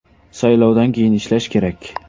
Saylovdan keyin ishlash kerak.